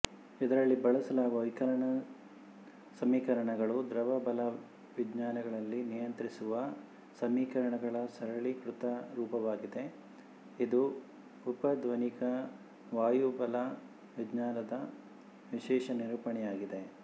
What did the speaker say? ಇದರಲ್ಲಿ ಬಳಸಲಾದ ವಿಕಲನ ಸಮೀಕರಣಗಳು ದ್ರವ ಬಲವಿಜ್ಞಾನಗಳನ್ನು ನಿಯಂತ್ರಿಸುವ ಸಮೀಕರಣಗಳ ಸರಳೀಕೃತ ರೂಪವಾಗಿದೆ ಇದು ಉಪಧ್ವನಿಕ ವಾಯುಬಲವಿಜ್ಞಾನದ ವಿಶೇಷ ನಿರೂಪಣೆಯಾಗಿದೆ